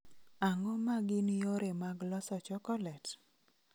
Ang�o ma gin yore mag loso chokolet?